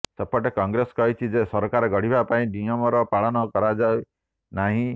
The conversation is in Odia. ସେପଟେ କଂଗ୍ରେସ କହିଛି ଯେ ସରକାର ଗଢିବା ପାଇଁ ନିୟମର ପାଳନ କରାଯାଇ ନାହିଁ